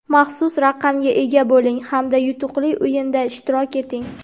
Maxsus raqamga ega bo‘ling hamda yutuqli o‘yinda ishtirok eting.